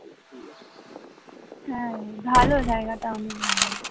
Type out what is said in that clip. হ্যাঁ ভালো, জায়গাটা অনেক ভালো